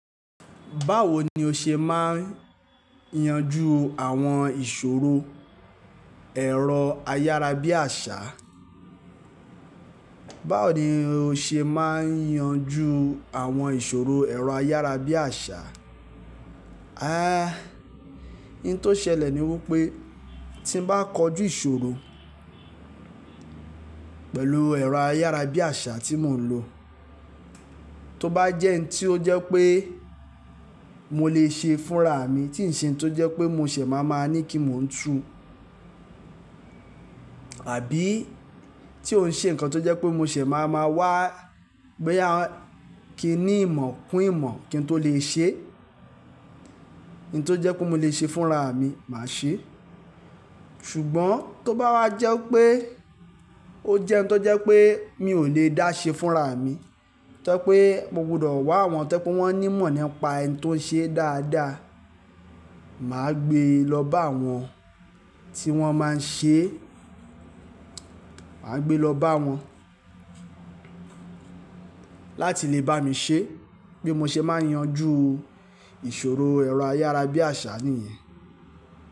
Báwo ni o ṣe máa ń yanjú àwọn ìṣòro ẹ̀rọ ayárabíàṣá? Báwo ni o ṣe máa ń yanjú àwọn ìṣòro ẹ̀rọ ayárabíàṣá? I n tó ṣẹlẹ̀ ni wípé tí n bá kojú ìṣòro pẹ̀lú ẹ̀rọ ayárabíàṣá tí mò ń lò, tó bá jẹ́ in tí ó jẹ́ pé mo lè ṣe fúnra mi, tí ǹ ṣe ohun tó jẹ́ pé mo ṣẹ̀ máa ma ní kí mò ń tu àbí tí ó ń ṣe nǹkan tó jẹ́ pé mo ṣẹ̀ máa ma wá boya kí n ní ìmọ̀ kún ìmọ̀ kí n tó lè ṣe, in tó jẹ́ pé mo lè ṣe fúnra mi, màá ṣe. Ṣùgbọ́n tó bá wá jẹ́ pé ó jẹ́ ohun tó jẹ́ pé mi ò lè dá ṣe fúnra mi, tó je pé mo gbudọ̀ wá àwọn tó je pé wọ́n ní ìmọ̀ nípa in tó ń ṣe dáadáa, màá gbé lọ bá wọn tí wọ́n máa ń ṣe, màá gbé lọ bá wọn láti lè bá mi ṣe. Bí mo ṣe máa ń yanjú ìṣòro ẹ̀rọ ayárabíàṣá nìyẹn.